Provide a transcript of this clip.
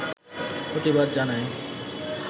প্রতিবাদ জানায়